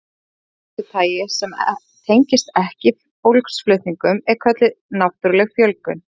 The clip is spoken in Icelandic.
Fjölgun af þessu tagi sem tengist ekki fólksflutningum er kölluð náttúruleg fjölgun.